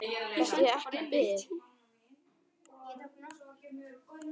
Þetta er ekki bið.